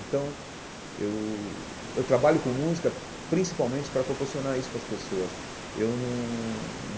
Então, eu eu trabalho com música principalmente para proporcionar isso para as pessoas eu não.